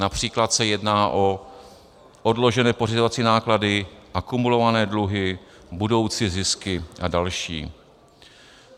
Například se jedná o odložené pořizovací náklady, akumulované dluhy, budoucí zisky a další.